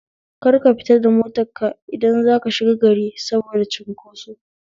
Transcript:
Kar ka fita da motar ka idan zaka shiga gari saboda cinkoso